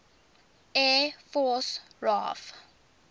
air force raaf